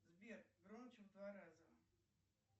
сбер громче в два раза